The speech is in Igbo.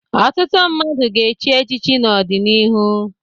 Ọtụtụ mmadụ ga-echi echichi n'ọdịnihu.